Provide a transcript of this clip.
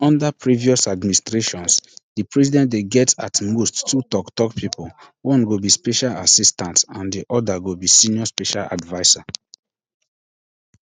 unda previous administrations di president dey get at most two toktok pipo one go be special assistant and di oda go be senior special adviser